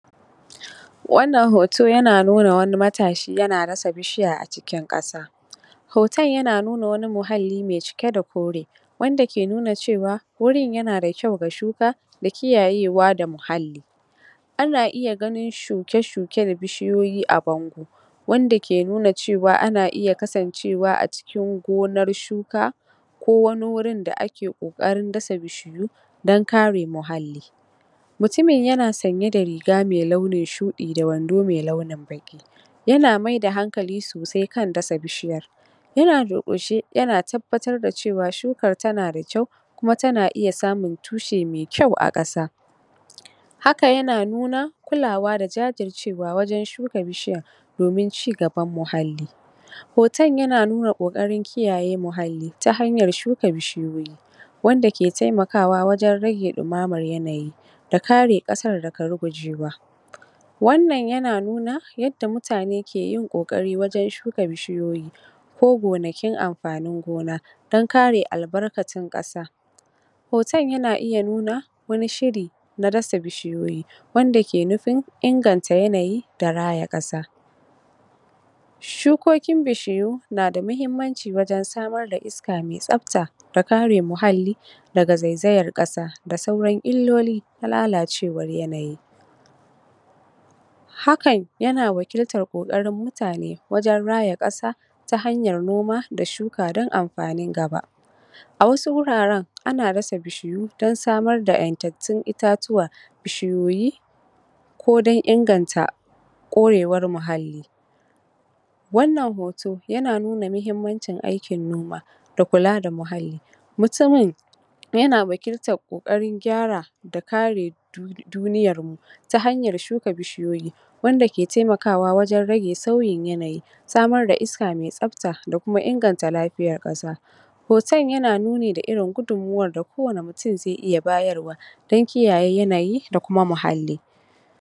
Wannan hoto yana nuna wani matashi yana dasa bishiya a cikin ƙasa. Hoton yana nuna wani muhalli mai cike da kore wanda ke cewa wurin yana da kyau ga shuka da kiyayewa ga muhalli. Ana iya ganin shuke shuke da bishiyoyi a bango wanda ke nuna cewa ana iya kasancewa a cikin gonan shuka ko wani wurin da ake ƙoƙarin dasa bishiyoyi ana ƙoƙarin kare muhalli. Mutumin yana sanye da riga mai launin shuɗi da wando mai launin baƙi yana mai da hankali sosai kan dasa bishiyar yana durƙushe yana tabbatar da cewa shukar tana da kyau kuma tana iya samun tushe mai kyau a ƙasa. Haka yana kulawa da jajircewa wajen shuka bishiyar domin cigaban muhalli, hoton yana nuna ƙoƙarin kare muhalli ta hanyan shuka bishiyoyi wanda ke taimakawa wajen rage ɗumamar yanayi da kare ƙasar daga rugujewa. Wannan yana nuna yadda mutane ke yin ƙoƙari wajen shuka bishiyoyi ko gonakin amfanin gona dan kare albarkacin ƙasa. Hoton yana nuna wani Shiri na dasa bishiyoyi wanda ke inganta yanayi da raya ƙasa. Shukokin bishiyu na da muhimmanci wajen samar da iska mai tsafta da kare muhalli daga zaizayar ƙasa da sauran illoli na lalacewar yanayi Hakan yana wakiltar mutane wajen raya ƙasa ta hanyar noma da shuka dan amfanin gaba. A wasu wuraren ana dasa bishiyu dan samar da ingantattun itatuwa bishiyoyi ko dan inganta korewar muhalli. Wannan hoto yana nuna muhimmanci aikin noma da kula da muhalli, mutumin yana wakiltar kokarin gyara da kare duniyarmu ta hanyan shuka bishiyoyi wanda ke taimakawa wajen raje sauyin yanayi samar da iska mai tsafta da kuma inganta lafiyar ƙasa, hoton yana nuni da irin gudunmuwar da kowane mutum ke bayarwa dan kiyaye yanayi da kuma kare muhalli.